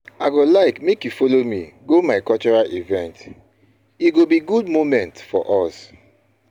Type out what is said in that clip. I no fit forget our date wey dey come so soon.